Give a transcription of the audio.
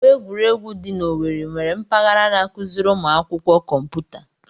Ọgbọ egwuregwu dị na-Owerri nwere mpaghara n'akụziri ụmụ akwụkwọ kọmputa.